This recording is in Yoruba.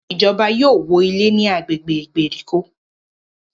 Ìjọba yóò wọ ilé ní agbègbè ìgbèríko